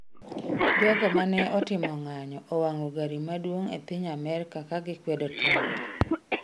Jogo ma ne otimo ng'anyo owang’o gari maduong’ e piny Amerka ka gikwedo Trump